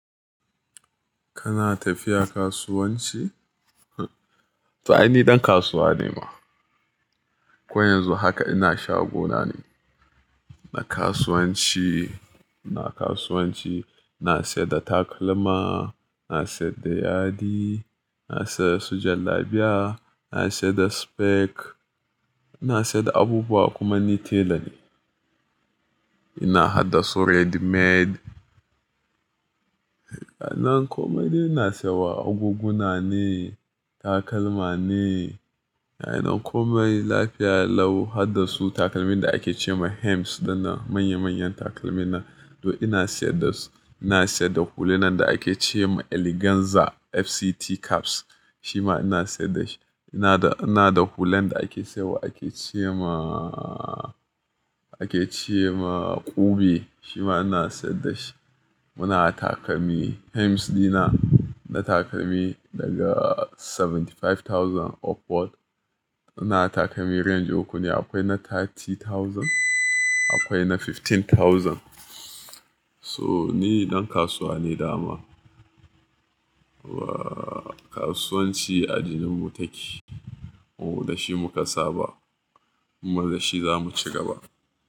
Kana tafiya kasuwanci? To ai ni dan kasuwa ne ma. Ko yanzu haka ina shago na ne na kasuwanci. Ina kasuwanci, ina sayar da takalma, ina sayar da yadi, ina sayar su jallabiya, ina sayar da speck, ina sayar da abubuwa kuma ni tela ne. Ina hada su ready-made. A nan kome dai ina sayar wa agoguna ne, takalma ne. A nan kome lafiya lau hadda su takalmin da ake ce ma hems dinnan manya-manyan takalmin nan. To ina sayar da su. Ina sayar da hulunan da ake ce ma eleganza FCT caps, shi ma ina sayar da shi. Ina da, ina da hulan da ake saiwa ake ce ma, ake ce ma ƙube shi ma ina sayar da shi. Muna takalmi hems dina, na takalmi daga dubu saba'in da biyar upward. Muna takalmi range uku ne akwai na dubu talatin akwai na dubu goma sha biyar. So ni dan kasuwa ne dama. Wa kasuwanci a jinin mu take. Mu da shi muka saba, kuma da shi zamu ci gaba.